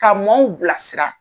Ka mɔɔw bilasira.